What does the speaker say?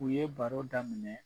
U ye baro da minɛ